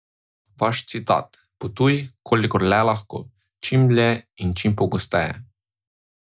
Vaš citat: "Potuj, kolikor le lahko, čim dlje in čim pogosteje.